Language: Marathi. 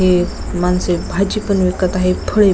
इथे माणसे भाजी पण विकत आहे फळे--